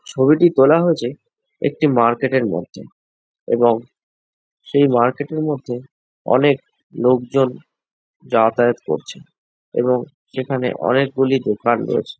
ছবিটি তোলা হয়েছে একটি মার্কেট এর মধ্যে এবং সেই মার্কেট এর মধ্যে অনেক লোকজন যাতাযাত করছে এবং সেখানে অনেক গুলি দোকান রয়েছে।